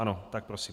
Ano, tak prosím.